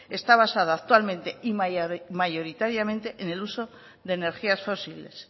está basado actualmente y mayoritariamente en el uso de energías fósiles